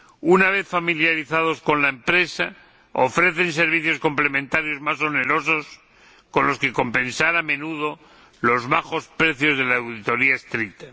Una vez familiarizados con la empresa, ofrecen servicios complementarios más onerosos con los que compensar a menudo los bajos precios de la auditoría estricta.